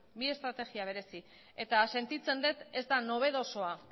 bi estrategia berezi eta sentitzen dut ez da nobedosoa